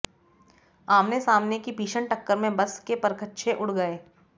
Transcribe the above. आमने सामने की भीषण टक्कर में बस के परखच्चे उड़ गये